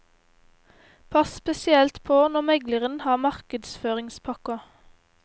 Pass spesielt på når megleren har markedsføringspakker.